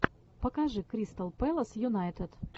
покажи кристал пэлас юнайтед